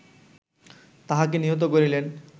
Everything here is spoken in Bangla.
তাহাকে নিহত করিলেন